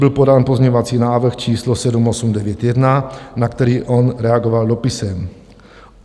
Byl podán pozměňovací návrh číslo 7891, na který on reagoval dopisem.